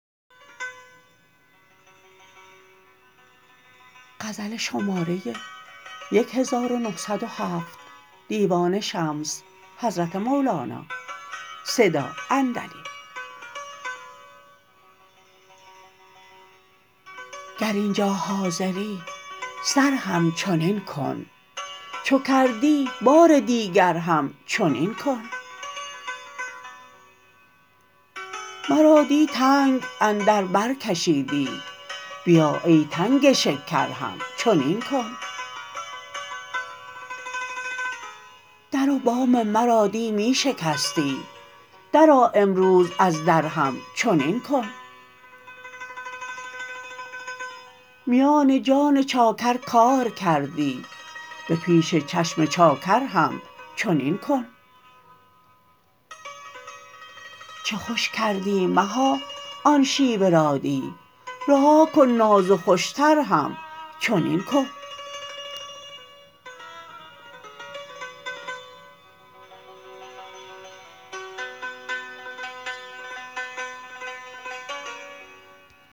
گر این جا حاضری سر همچنین کن چو کردی بار دیگر همچنین کن مرا دی تنگ اندر بر کشیدی بیا ای تنگ شکر همچنین کن در و بام مرا دی می شکستی درآ امروز از در همچنین کن میان جان چاکر کار کردی به پیش چشم چاکر همچنین کن چه خوش کردی مها آن شیوه را دی رها کن ناز و خوشتر همچنین کن